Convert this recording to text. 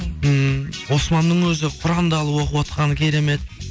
ммм османның өзі құранды алып оқып отқаны керемет